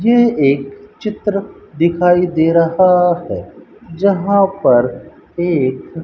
यह एक चित्र दिखाई दे रहा है जहां पर एक --